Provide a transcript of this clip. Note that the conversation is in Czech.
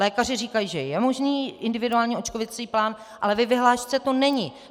Lékaři říkají, že je možný individuální očkovací plán, ale ve vyhlášce to není.